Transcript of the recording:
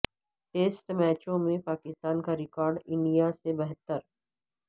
test میچوں میں پاکستان کا ریکارڈ انڈیا سے بہتر